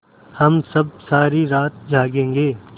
हम सब सारी रात जागेंगे